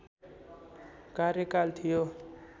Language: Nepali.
कार्यकाल थियो